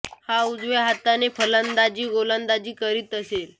हा उजव्या हाताने फलंदाजी आणि गोलंदाजी करीत असे